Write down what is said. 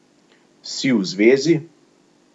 Si v zvezi?